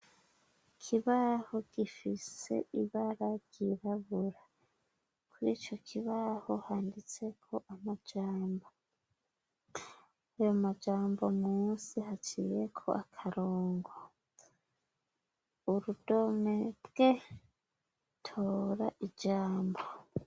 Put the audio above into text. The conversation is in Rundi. Ikibaho gifise ibara ryirabura. Kuri ico kibaho handitseko amajambo, ayo majambo musi haciyeko akarongo, urudome "bwe", tora ijambo.